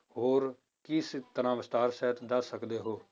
ਹੋਰ ਕਿਸ ਤਰ੍ਹਾਂ ਵਿਸਥਾਰ ਸਹਿਤ ਦੱਸ ਸਕਦੇ ਹੋ।